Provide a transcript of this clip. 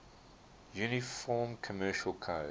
uniform commercial code